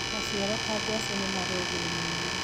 Maciaro ta ngwaci nĩ marĩ ũguni mũnene